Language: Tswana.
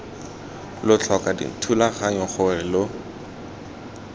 lo tlhoka dithulaganyo gore lo